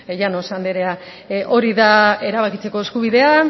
llanos andrea hori da erabakitzeko eskubidea